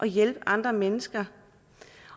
hjælpe andre mennesker